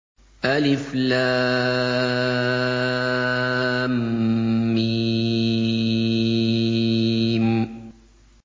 الم